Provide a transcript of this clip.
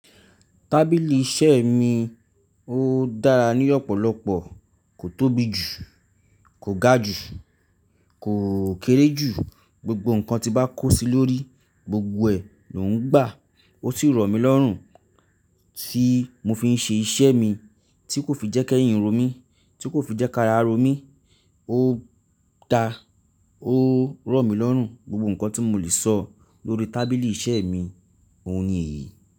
Tábìlì iṣẹ́ mi ó dára ní ọ̀pọ̀lọpọ̀, kò tóbi jù, kò ga jù, kò kéré jù. Gbogbo nǹkan tí bá kó sí lórí, gbogbo ẹ lò ń gbà. Ó sì rọ̀ mí lọ́rùn tí mo fi ń ṣe iṣẹ́ mi, tí kò fi jẹ́ kẹ́yìn romí, tí kò fi jẹ́ kará romí. Ó da, ó rọ̀ mí lọ́rùn. Gbogbo nǹkan tí mo lè sọ lórí tábìlì iṣẹ́ mi, òun ni èyí.